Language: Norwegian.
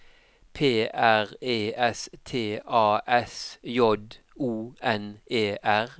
P R E S T A S J O N E R